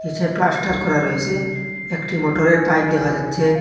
সে plaster করা রয়েসে একটি মোটরের পাইপ দেখা যাচ্ছে।